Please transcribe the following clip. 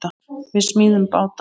Við smíðum báta.